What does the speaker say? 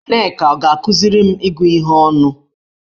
Nneka ọ ga-akụziri m ịgụ ihe ọnụ?